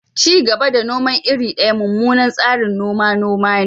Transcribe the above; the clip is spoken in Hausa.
Ci gaba da noman iri daya mummunan tsarin noman noma ne.